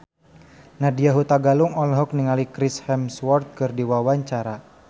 Nadya Hutagalung olohok ningali Chris Hemsworth keur diwawancara